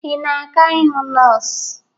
Ị na-aga ịhụ nọọsụ?